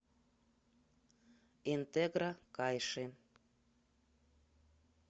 интегро кайши